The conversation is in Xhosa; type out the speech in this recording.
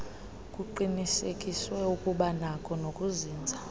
kuqinisekiswe ukubanakho nokuzinza